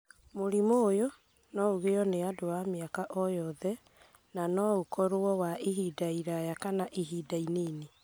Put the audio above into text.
Mũrimũ ũyũ no ũgĩyo nĩ andũ a mĩaka o yothe na no ũkorũo wa ihinda iraya kana wa ihinda inini.